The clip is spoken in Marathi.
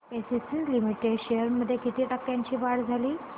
एसीसी लिमिटेड शेअर्स मध्ये किती टक्क्यांची वाढ झाली